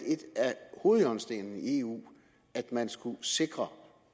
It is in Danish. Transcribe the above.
hovedhjørnestenene i eu at man skulle sikre